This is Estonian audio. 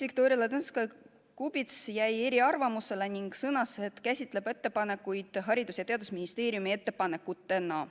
Viktoria Ladõnskaja-Kubits jäi eriarvamusele ning sõnas, et tema käsitab ettepanekuid Haridus- ja Teadusministeeriumi ettepanekutena.